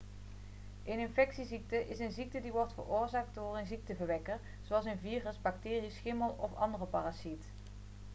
een infectieziekte is een ziekte die wordt veroorzaakt door een ziekteverwekker zoals een virus bacterie schimmel of andere parasiet